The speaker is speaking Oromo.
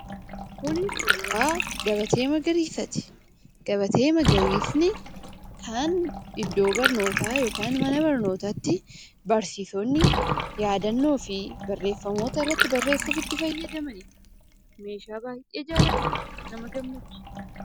Kun suuraa gabatee magariisaati. Gabatee magariisni kan iddoo barnootaa yookiin mana barnootaatti barsiisonni yaadannoo fi barreeffamoota barreessuuf itti fayyadamanidha kan baay'ee jaallatamudha nama gammachiisa.